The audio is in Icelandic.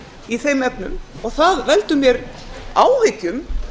í þeim efnum og það veldur mér áhyggjum